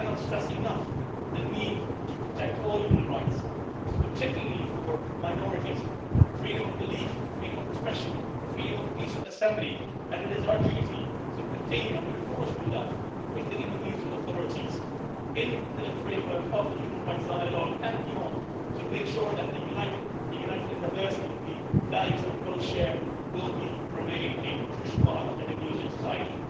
We cannot stress enough the need to protect all human rights, particularly for minorities freedom of belief, freedom of expression and freedom of peaceful assembly. It is our duty to continue, and we look forward to doing that with the Indonesian authorities in the framework of the human rights dialogue and beyond to make sure that the united in diversity' values that we both share will remain a crucial part of Indonesian society.